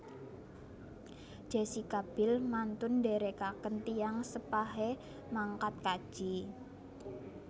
Jessica Biel mantun ndherekaken tiyang sepahe mangkat kaji